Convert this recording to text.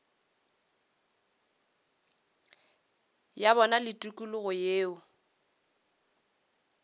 ya bona le tikologo yeo